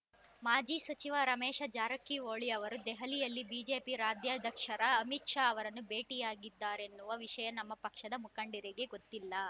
ಮಾಜಿ ಸಚಿವ ರಮೇಶ ಜಾರಕಿಹೊಳಿ ಅವರು ದೆಹಲಿಯಲ್ಲಿ ಬಿಜೆಪಿ ರಾಜ್ಯಾಧ್ಯಕ್ಷ ಅಮಿತ್‌ ಶಾ ಅವರನ್ನು ಭೇಟಿಯಾಗಿದ್ದಾರೆನ್ನುವ ವಿಷಯ ನಮ್ಮ ಪಕ್ಷದ ಮುಖಂಡರಿಗೇ ಗೊತ್ತಿಲ್ಲ